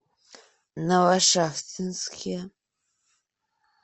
новошахтинске